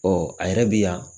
Ɔ a yɛrɛ bɛ yan